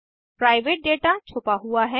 private data छुपा हुआ है